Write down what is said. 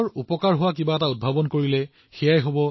বৰ্তমান সময়ত পৃথিৱীৰ দক্ষ লোকসকলৰ বাবে কোনো সুযোগৰ অভাৱ নাই